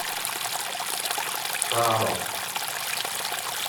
каро